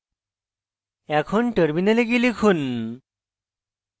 এখন terminal গিয়ে লিখুন